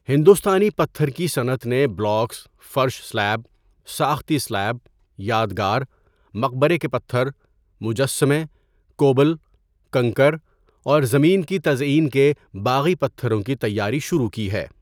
ہندوستانی پتھر کی صنعت نے بلاکس، فرش سلیب، ساختی سلیب، یادگار، مقبرے کے پتھر، مجسمے، کوبل، کنکر اور زمین کی تزئین کے باغی پتھروں کی تیاری شروع کی ہے۔